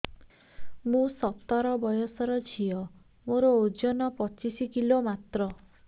ମୁଁ ସତର ବୟସର ଝିଅ ମୋର ଓଜନ ପଚିଶି କିଲୋ ମାତ୍ର